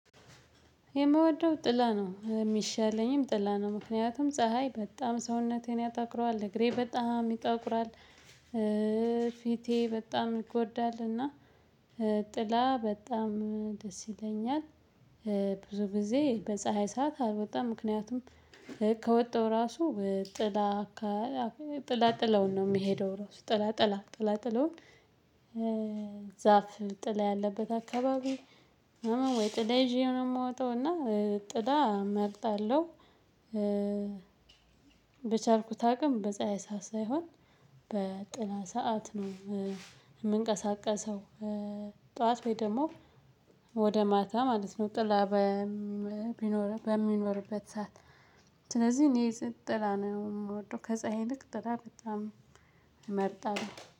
የምወደው ጥላ ነው፤ የሚሻለኝም ጥላ ነው፤ ምክንያቱም ፀሀይ በጣም ሰውነቴን ያጠቁረዋል፣ እግሬ በጣም ይጠቁራል። ፊቴ በጣም ይጎዳልና ጥላ በጣም ደስ ይለኛል፤ ብዙ ጊዜ በፀሀይ ሰዓት አልወጣም፤ ምክንያቱም ራሱ ጥላ ጥላጥለውን ነው የሚሄደው፤ ራሱ ጥላጥላ ጥላጥለውን ዛፍ ጥላ ያለበት አካባቢ፣ ወይም ጥላ ይዤ ነው የምወጣው እና ጥላ እመርጣለሁ በቻልኩት አቅም በፀሀይ ሳይሆን በጥላ ሰዓት ነው የምንቀሳቀሰው፤ ጠዋት ወይም ደግሞ ወደ ማታ ማለት ነው፣ ጥላ ቢኖር በሚኖርበት ሰዓት ስለዚህ እኔ ስንት ጥላ ነው የምወደው፤ ከዚያ ይልቅ ጥላ በጣም እመርጣለሁ።